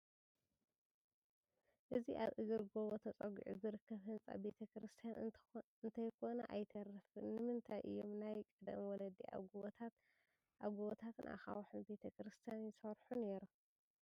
እዚ ኣብ እግሪ ጐቦ ተፀጊዑ ዝርከብ ህንፃ ቤተ ክርስቲያን እንተይኮነ ኣይተርፍን፡፡ ንምንታይ እዮም ናይ ቀደም ወለዲ ኣብ ጐቦታትን ኣኻውሕን ቤተ ክርስቲያን ይሰርሑ ነይሮም?